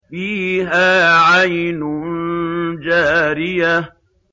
فِيهَا عَيْنٌ جَارِيَةٌ